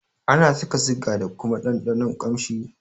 Ana saka siga da kuma ɗanɗanon kamshi.